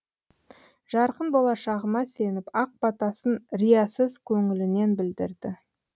жарқын болашағыма сеніп ақ батасын риясыз көңілінен білдірді